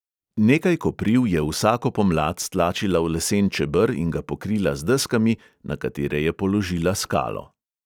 Nekaj kopriv je vsako pomlad stlačila v lesen čeber in ga pokrila z deskami, na katere je položila skalo.